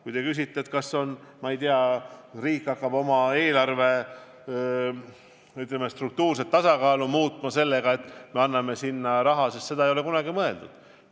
Kui te küsite, kas riik hakkab oma eelarve struktuurset tasakaalu muutma sellega, et me anname sinna raha, siis seda ei ole kunagi mõeldud.